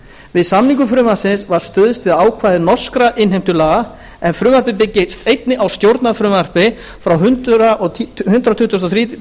við samningu frumvarpsins var stuðst við ákvæði norskra innheimtulaga en frumvarpið byggist einnig á stjórnarfrumvarpi frá hundrað tuttugasta og